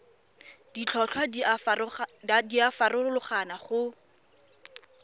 ditlhotlhwa di a farologana go